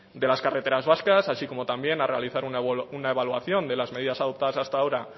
de las carreteras vascas así como también a realizar una evaluación de las medidas adoptadas hasta ahora